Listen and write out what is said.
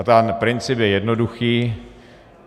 A ten princip je jednoduchý.